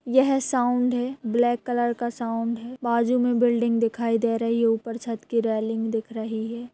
यह साउंड है black colour का साउंड है बाजू मे बिल्डिंग दिखाई दे रही है ऊपर छत की रेलिंग दिख रही है।